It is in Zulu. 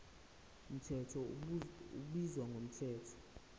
mthetho ubizwa ngomthetho